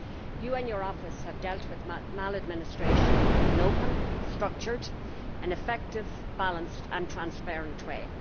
You and your office have dealt with maladministration in an open, structured, effective, balanced and transparent way.